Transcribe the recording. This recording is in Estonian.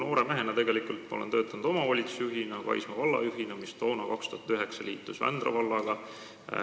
Noore mehena töötasin ma omavalitsusjuhina, Kaisma valla juhina, mis toona, 2009, liitus Vändra vallaga.